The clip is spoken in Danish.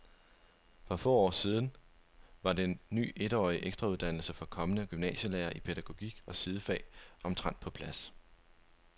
For få dage siden var den ny etårige ekstrauddannelse for kommende gymnasielærere i pædagogik og sidefag omtrent på plads.